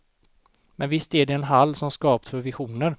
Men visst är det en hall som skapt för visioner.